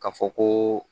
Ka fɔ koo